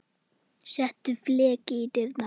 Settur fleki í dyrnar.